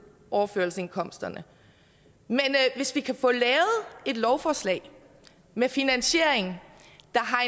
overførselsindkomsterne men hvis vi kan få lavet et lovforslag med finansiering ind